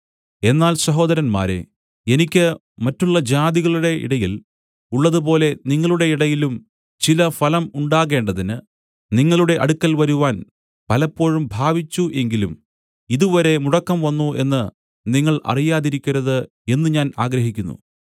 എന്നാൽ സഹോദരന്മാരേ എനിക്ക് മറ്റുള്ള ജാതികളുടെയിടയിൽ ഉള്ളതുപോലെ നിങ്ങളുടെയിടയിലും ചില ഫലം ഉണ്ടാകേണ്ടതിന് നിങ്ങളുടെ അടുക്കൽ വരുവാൻ പലപ്പോഴും ഭാവിച്ചു എങ്കിലും ഇതുവരെ മുടക്കം വന്നു എന്നു നിങ്ങൾ അറിയാതിരിക്കരുത് എന്നു ഞാൻ ആഗ്രഹിക്കുന്നു